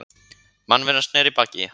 Mannveran sneri baki í hann.